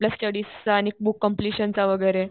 आपला स्टडीचा आणि बुक कम्प्लीशनचा वगैरे.